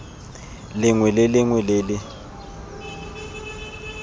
lengwe le lengwe le le